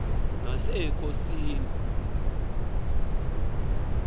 nasekhosini